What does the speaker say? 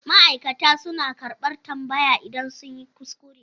Ma'aikata suna karɓar tambaya idan sun yi kuskure.